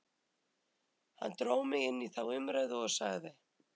Hann dró mig inn í þá umræðu og sagði